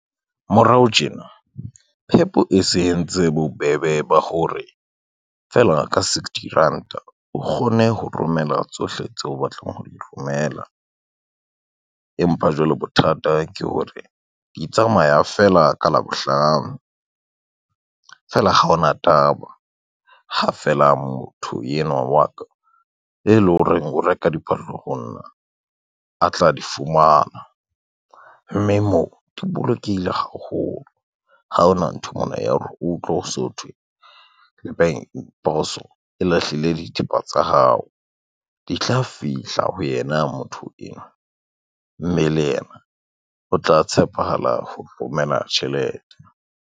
Morao tjena, PEP e se entse bobebe ba hore, fela ka sixty ranta o kgone ho romela tsohle tseo o batlang ho di romela. Empa jwale bothata ke hore di tsamaya fela ka Labohlano, fela ha ona taba, ha fela motho yenwa wa ka, e lo reng o reka diphahlo honna a tla di fumana, mme moo di bolokehile haholo, ha hona ntho mona ya hore utlwe so thwe poso e lahlile dithepa tsa hao, di tla fihla ho yena motho enwa, mme le yena o tla tshepahala ho romela tjhelete.